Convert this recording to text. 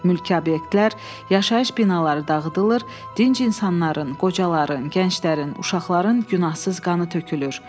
Mülki obyektlər, yaşayış binaları dağıdılır, dinc insanların, qocaların, gənclərin, uşaqların günahsız qanı tökülür.